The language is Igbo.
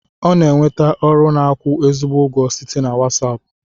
Ọ na-enweta ọrụ na-akwu ezigbo ụgwọ site na Wasapu.